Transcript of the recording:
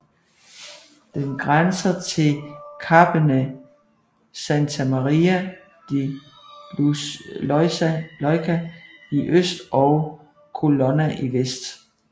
Den grænser til kappene Santa Maria di Leuca i øst og Colonna i vest